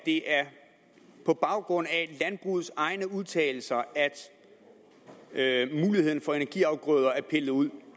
det er på baggrund af landbrugets egne udtalelser at muligheden for energiafgrøder er pillet ud